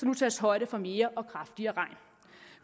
nu tages højde for mere og kraftigere regn